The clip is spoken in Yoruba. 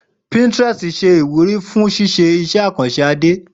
Pinterest ṣe iwuri fun ipaniyan iṣẹ akanṣe ẹda Ade